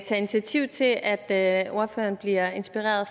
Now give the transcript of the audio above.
tage initiativ til at ordføreren bliver inspireret